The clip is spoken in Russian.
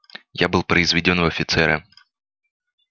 я был произведён в офицеры